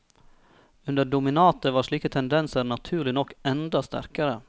Under dominatet var slike tendenser naturlig nok enda sterkere.